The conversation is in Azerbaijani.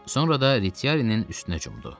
Sonra da Retiarinin üstünə cumdu.